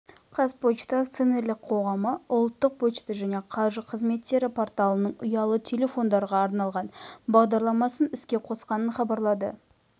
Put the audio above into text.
қазпошта акционерлік қоғамы ұлттық пошта және қаржы қызметтері порталының ұялы телефондарға арналған бағдарламасын іске қосқанын хабарлады